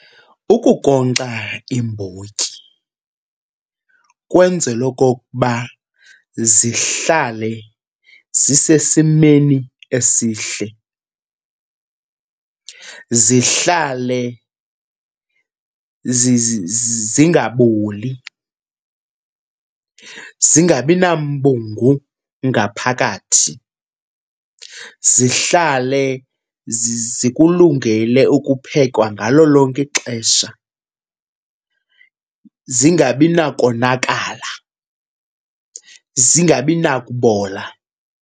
Ukunkonkxa iimbotyi kwenzelwa okokuba zihlale zisesimeni esihle, zihlale zingaboli, zingabina mbungu ngaphakathi. Zihlale zikulungele ukuphekwa ngalo lonke ixesha, zingabi nakonakala, zingabi nakubola.